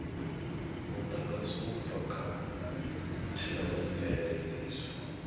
mudagasi u bva kha theomveledziso